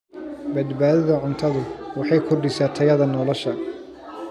Badbaadada cuntadu waxay kordhisaa tayada nolosha.